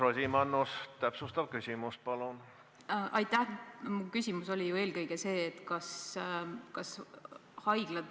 Kindlasti ei saa plaaniline ravi kuidagi takerduda selle tõttu, et haiglad on pidanud tegema lisakulutusi COVID-19 haiguse tõttu.